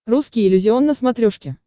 русский иллюзион на смотрешке